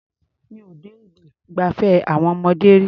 Mi ò dé ibi ìgbafẹ́ àwọn ọmọdé rí.